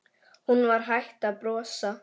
Hún var hætt að brosa.